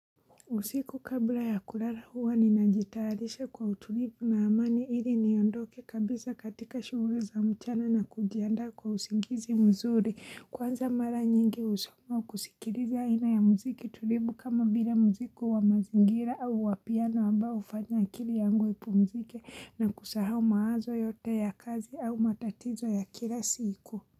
Usiku kabla ya kulala huwa ninajitalisha kwa utulivu na amani ili niondoke kabisa katika shughuli za mchana na kujianda kwa usingizi mzuri. Kwanza mara nyingi usiku kusikiliza ina ya muziki tulivu kama vile muziki wa mazingira au wa piano amba hufanya akili yangu ipumzike na kusahau mawazo yote ya kazi au matatizo ya kila siku.